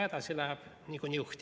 Aitäh!